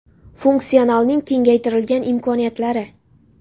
– Funksionalning kengaytirilgan imkoniyatlari.